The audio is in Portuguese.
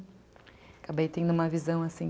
Acabei tendo uma visão assim,